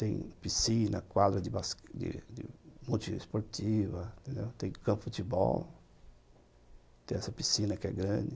Tem piscina, quadra de bas bas multiesportiva, tem campo de futebol, tem essa piscina que é grande.